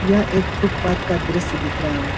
यह एक फुटपाथ का दृश्य दिख रहा है।